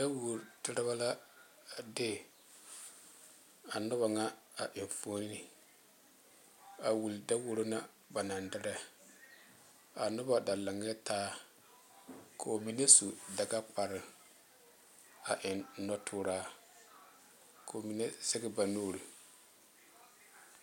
Daworo derebɛ la a de a noba ŋa enfuoni a wule daworo na ba naŋ derɛ ka noba da lantaa ka ba mine su dagakparre a eŋ nɔtuuraa ka ba mine seŋe ba nuure